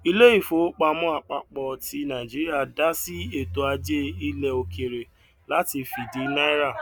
ilé ìfowópamọ àpapọ ti nàìjíríà dá sí ètò ajé ilẹ òkèèrè láti fìdí náírà